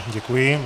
Děkuji.